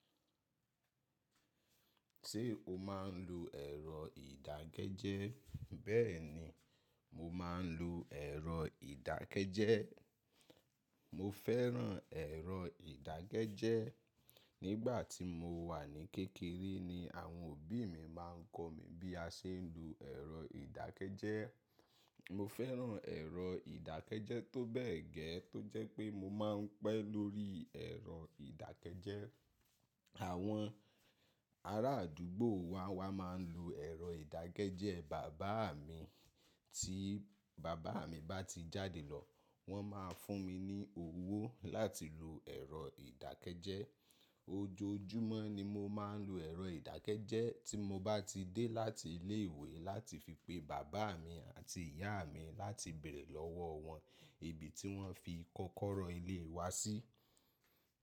Ṣé o máa ń lo ẹ̀rọ ìdágẹjẹ? Bẹ́ẹ̀ni, mo máa ń lo ẹ̀rọ ìdákẹjẹ. Mo fẹ́ràn ẹ̀rọ ìdágẹjẹ. Nígbà tí mo wà ní kékeré ni àwọn òbí mi máa ń kọ̀ mí bí a ṣe ń lo ẹ̀rọ ìdákẹjẹ. Mo fẹ́ràn ẹ̀rọ ìdákẹjẹ tó bẹ́ẹ̀ gẹ́ẹ́ tó jẹ́ pé mo máa ń pẹ́ lórí ẹ̀rọ ìdákẹjẹ. Àwọn ará àdúgbò wa wá máa ń lo ẹ̀rọ ìdágẹjẹ. Bàbá mi tí bàbá mi bá ti jáde lọ, wọ́n máa fún mi ní owó láti lo ẹ̀rọ ìdákẹjẹ. Ojoojúmọ́ ni mo máa ń lo ẹ̀rọ ìdágẹjẹ tí mo bá ti dé láti ilé ìwé láti fi pe bàbá mi àti ìyá mi láti béèrè lọ́wọ́ wọn ibi tí wọ́n fi kọ́kọ́rọ́ ilé wa sí.